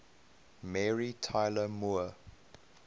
mary tyler moore